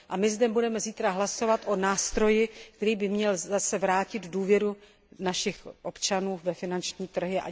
My zde budeme zítra hlasovat o nástroji, který by měl zase vrátit důvěru našich občanů ve finanční trhy.